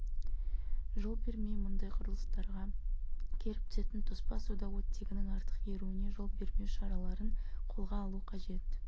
жол бермей мұндай құрылыстарға келіп түсетін тоспа суда оттегінің артық еруіне жол бермеу шараларын қолға алу қажет